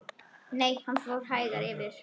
Nei, hann fór hægar yfir.